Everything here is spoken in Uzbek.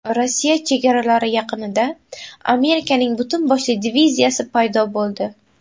Rossiya chegaralari yaqinida Amerikaning butun boshli diviziyasi paydo bo‘ldi.